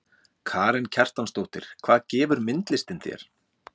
Karen Kjartansdóttir: Hvað gefur myndlistin þér?